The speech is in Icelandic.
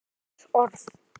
Önnur orð.